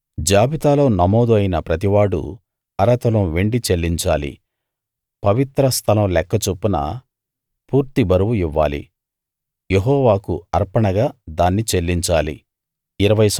జాబితాలో నమోదు అయిన ప్రతివాడూ అర తులం వెండి చెల్లించాలి పవిత్ర స్థలం లెక్క చొప్పున పూర్తి బరువు ఇవ్వాలి యెహోవాకు అర్పణగా దాన్ని చెల్లించాలి